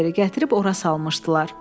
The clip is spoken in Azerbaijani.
Oliveri gətirib ora salmışdılar.